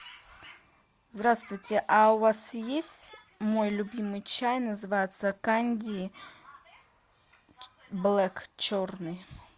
здравствуйте а у вас есть мой любимый чай называется канди блэк черный